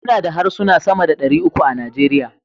muna da harsuna sama da dari uku a Najeriya